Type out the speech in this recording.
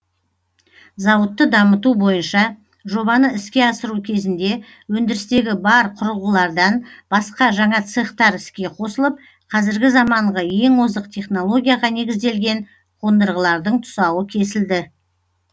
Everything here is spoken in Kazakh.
зауытты дамыту бойынша жобаны іске асыру кезінде өндірістегі бар құрылғылардан басқа жаңа цехтар іске қосылып қазіргі заманғы ең озық технологияға негізделген қондырғылардың тұсауы кесілді